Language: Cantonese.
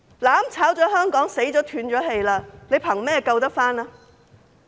"攬炒"了香港，死了、斷了氣，憑甚麼救回？